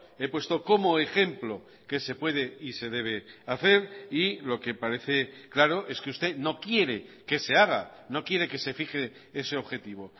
he puesto como ejemplo que se puede y se debe hacer y lo que parece claro es que usted no quiere que se haga no quiere que se fije ese objetivo